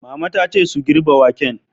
Mama ta ce su "girbe waken"!